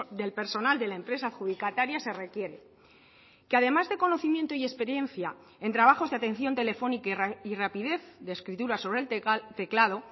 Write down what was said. del personal de la empresa adjudicataria se requiere que además de conocimiento y experiencia en trabajos de atención telefónica y rapidez de escritura sobre el teclado